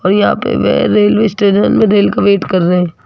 और यहां पे वे रेलवे स्टेशन में रेल का वेट कर रहे--